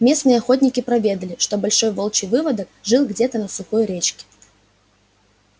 местные охотники проведали что большой волчий выводок жил где-то на сухой речке